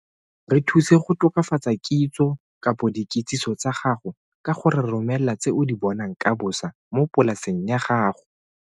Re thuse go tokafatsa kitso kgotsa dikitsiso tsa gago ka go re romela tse o di bonang ka bosa mo polaseng ya gago.